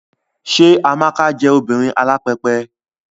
Ṣé Amaka jọ obìnrin alápẹpẹ?